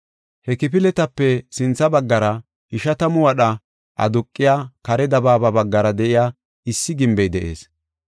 He kifiletape sintha baggara ishatamu wadha aduqiya kare dabaaba baggara de7iya issi gimbey de7ees.